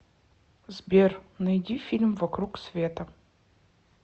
сбер найди фильм вокруг света